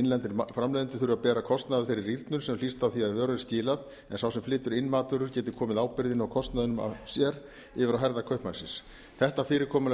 innlendir framleiðendur þurfa að bera kostnað af þeirri rýrnun sem hlýst af því að vöru er skilað en sá sem flytur inn matvöru geti komið ábyrgðinni og kostnaðinum af sér yfir á herðar kaupmannsins þetta fyrirkomulag